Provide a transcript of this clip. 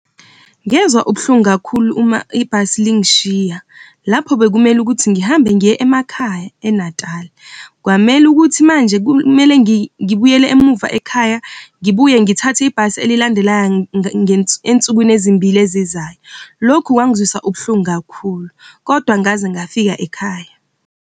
Ngezwa ubuhlungu kakhulu uma ibhasi lingishiya, lapho bekumele ukuthi ngihambe ngiye emakhaya eNatali. Kwamele ukuthi manje kumele ngibuyele emuva ekhaya, ngibuye ngithathe ibhasi elilandelayo ensukwini ezimbili ezizayo. Lokhu kwangizwisa ubuhlungu kakhulu kodwa ngaze ngafika ekhaya.